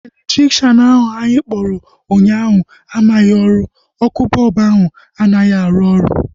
Elektrikshan ahu anyị kpọrọ ụnyaahụ amaghị ọrụ. Ọkụ bọlbụ ahu anaghị arụ oru